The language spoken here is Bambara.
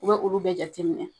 U bɛ olu bɛɛ jate minɛ.